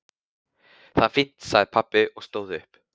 Það er fínt sagði pabbi og stóð upp.